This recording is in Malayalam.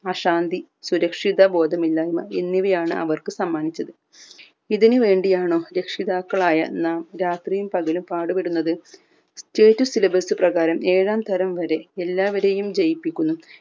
അശാന്തി സുരക്ഷിത ബോധ ഇല്ലായിമ എന്നിവയാണ് അവർക്ക് സമ്മാനിച്ചത് ഇതിന് വേണ്ടിയാണോ രക്ഷിതാക്കളായ നാം രാത്രിയും പകലും പാട് പെടുന്നത് state syllebus പ്രകാരം എഴാം തരം വരേ എല്ലാവരെയും ജയിപ്പിക്കുന്നു